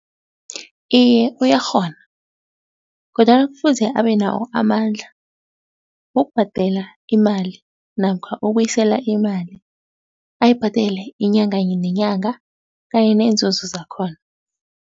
Iye uyakghona, kodwana kufuze abe nawo amandla wokubhadela imali namkha ubuyisela imali, ayibhadele inyanga nenyanga kanye neenzuzo zakhona.